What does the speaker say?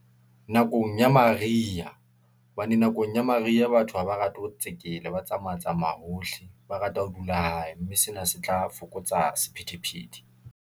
Nakong ya mariha hobane nakong ya mariha batho haba rate ho tsekela ba tsamaya, tsamaya hohle ba rata ho dula hae, mme sena se tla fokotsa sephethephethe.